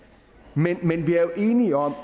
men vi er jo enige om